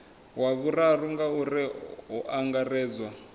wa vhuraru ngauri hu angaredzwa